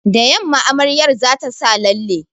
Da yamma amaryar za ta sa lalle